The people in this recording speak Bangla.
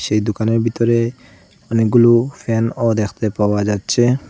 এই দুকানের ভিতরে অনেকগুলো ফ্যানও দেখতে পাওয়া যাচ্ছে।